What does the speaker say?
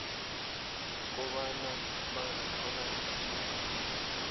kobana bangathola isizo